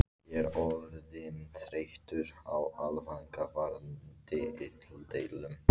Ég er orðinn þreyttur á langvarandi illdeilum.